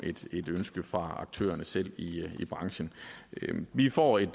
et ønske fra aktørerne selv i branchen vi får et